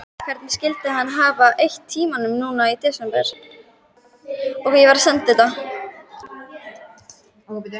Hvernig skyldi hann hafa eytt tímanum núna í desember?